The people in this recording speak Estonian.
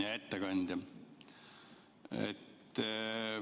Hea ettekandja!